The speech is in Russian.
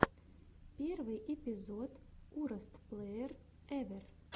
первый эпизод уростплэерэвэр